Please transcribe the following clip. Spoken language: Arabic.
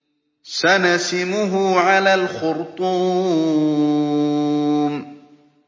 سَنَسِمُهُ عَلَى الْخُرْطُومِ